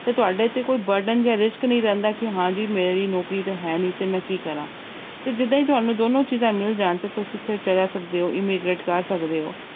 ਤੇ ਤੁਹਾਡੇ ਤੇ ਕੋਈ burden ਜਾਂਂ risk ਨੀ ਰਹਿੰਦਾ ਕਿ ਹਾਂਜੀ ਮੇਰੀ ਨੌਕਰੀ ਤੇ ਹੈ ਨੀ ਤੇ ਮੈਂ ਕੀ ਕਰਾਂ, ਤੇ ਜਿੱਦਾਂ ਹੀ ਤੁਹਾਨੂੂੰ ਦੋਨੋਂ ਚੀਜ਼ਾਂ ਮਿਲ ਜਾਣ ਤੇ ਤੁਸੀਂ ਉੱਥੇ ਜਾ ਸਕਦੇ ਹੋ immigrate ਕਰ ਸਕਦੇ ਹੋ।